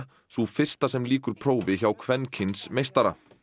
sú fyrsta sem lýkur prófi hjá kvenkyns meistara